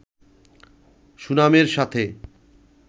সুনামের সাথে